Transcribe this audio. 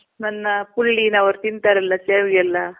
ನನ್ನ ಪುಳ್ಳಿ ನವ್ರು ತಿಂತಾರಲ್ಲ ಸೇವಿಗೆ ಎಲ್ಲಾ?